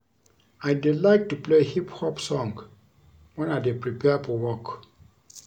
I dey like to play hip hop song wen I dey prepare for work